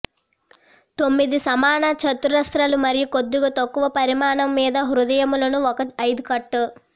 తొమ్మిది సమాన చతురస్రాలు మరియు కొద్దిగా తక్కువ పరిమాణం మీద హృదయములను ఒక ఐదు కట్